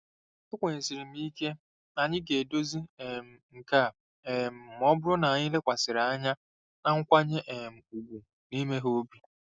Ekwenyesiri m ike na anyị ga-edozi um nke a um ma ọ bụrụ na anyị lekwasịrị anya na nkwanye um ùgwù na imeghe obi.